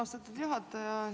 Austatud juhataja!